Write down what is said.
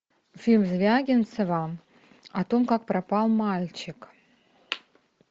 фильм звягинцева о том как пропал мальчик